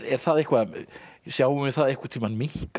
það sjáum við það einhvern tímann minnka